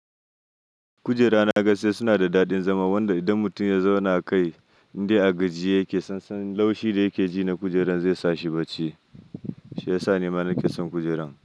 Kujera na gan shi suna da daɗin zama wanda idan mutum ya zauna kai inda agaji yake, san san laushi da yake ji na kujeran zai sa shi barci. Shi yasa ni mara nake son kujeran.